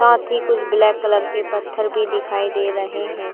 साथ ही कुछ ब्लैक कलर के पत्थर भी दिखाई दे रहे है।